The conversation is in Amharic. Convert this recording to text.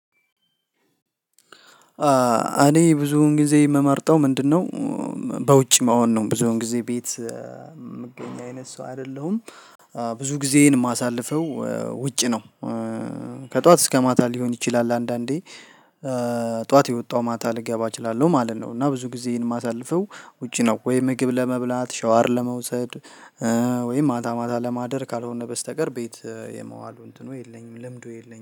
እኔ ብዙውን ጊዜ የምመርጠው ምንድነው? በውጭ መሆን ነው ብዙውን ጊዜ ቤት የምገኝ አይነት ሰው አይደለሁም። ብዙ ጊዜዬን የማሳልፈው ውጭ ነው። ከጠዋት እስከ ማታ ሊሆን ይችላል አንዳንዴ ጠዋት የወጣው ማታ ልገባ እችላለሁ ማለት ነው። እና ብዙ ጊዜዬን የማሳልፈው ውጪ ነው። ወይ ምግብ ለመብላት ሻወር ለመውሰድ ወይ ማታ ማታ ለማደር ካልሆነ በስተቀር ቤት የመዋሉ እንትኑ የለኝም ልምዱ የለኝም